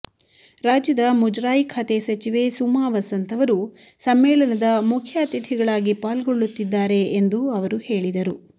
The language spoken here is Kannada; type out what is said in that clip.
ರಾಜ್ಯದ ಮುಜರಾಯಿ ಖಾತೆ ಸಚಿವೆ ಸುಮಾ ವಸಂತ್ ಅವರು ಸಮ್ಮೇಳನದ ಮುಖ್ಯ ಅತಿಥಿಗಳಾಗಿ ಪಾಲ್ಗೊಳ್ಳತ್ತಿದ್ದಾರೆ ಎಂದೂ ಅವರು ಹೇಳಿದರು